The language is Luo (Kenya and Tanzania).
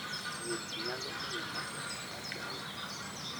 Wuoth nyalo miyo ng'ato opar dala.